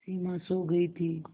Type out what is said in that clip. सिमा सो गई थी